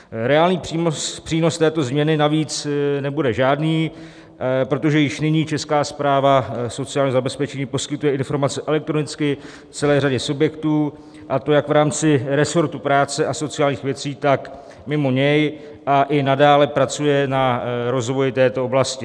Reálný přínos této změny navíc nebude žádný, protože již nyní Česká správa sociálního zabezpečení poskytuje informace elektronicky celé řadě subjektů, a to jak v rámci resortu práce a sociálních věcí, tak mimo něj, a i nadále pracuje na rozvoji této oblasti.